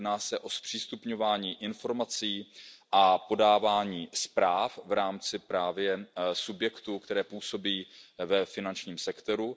Jedná se o zpřístupňování informací a podávání zpráv v rámci subjektů, které působí ve finančním sektoru.